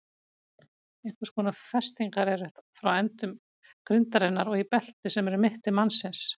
Einhvers konar festingar eru frá endum grindarinnar og í belti sem er um mitti mannsins.